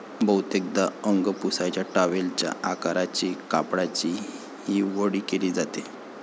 बहुतेकदा अंग पुसायच्या टॉवेलच्या आकाराच्या कापडाची ही वळी केली जाते.